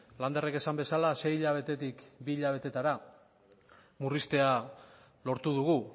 landerrek esan bezala sei hilabetetik bi hilabetetara murriztea lortu dugu